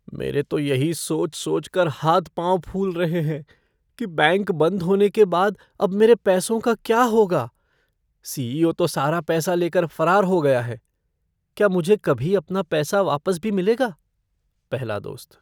मेरे तो यही सोच सोचकर हाथ पाँव फूल रहे हैं कि बैंक बंद होने के बाद अब मेरे पैसों का क्या होगा, सीईओ तो सारा पैसा लेकर फरार हो गया है? क्या मुझे कभी अपना पैसा वापस भी मिलेगा? पहला दोस्त